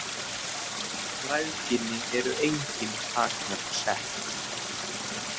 Græðginni eru engin takmörk sett.